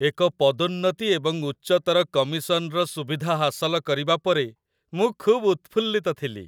ଏକ ପଦୋନ୍ନତି ଏବଂ ଉଚ୍ଚତର କମିଶନର ସୁବିଧା ହାସଲ କରିବା ପରେ, ମୁଁ ଖୁବ୍ ଉତ୍ଫୁଲ୍ଲିତ ଥିଲି।